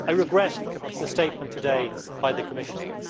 I regret the statement today by the Commissioner.